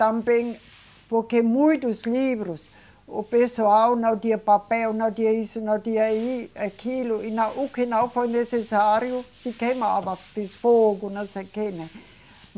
Também, porque muitos livros, o pessoal não tinha papel, não tinha isso, não tinha e, aquilo, e o que não foi necessário se queimava, fez fogo, não sei o quê, né?